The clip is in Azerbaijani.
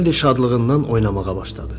Renalddi şadlığından oynamağa başladı.